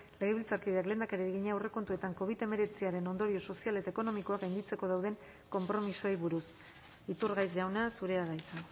legebiltzarkideak lehendakariari egina aurrekontuetan covid hemeretziaren ondorio sozial eta ekonomikoak gainditzeko dauden konpromisoei buruz iturgaiz jauna zurea da hitza